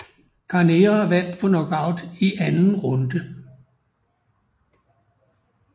Carnera vandt på knockout i anden runde